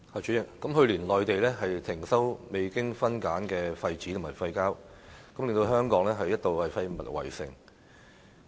主席，內地去年停收未經分類的廢紙和廢膠，令香港一度出現"廢物圍城"。